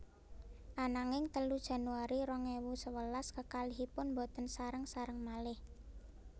Ananging telu Januari rong ewu sewelas kekalihipun boten sareng sareng malih